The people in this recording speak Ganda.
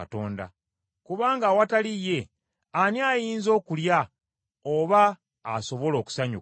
kubanga awatali ye, ani ayinza okulya oba asobola okusanyuka?